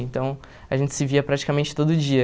Então a gente se via praticamente todo dia.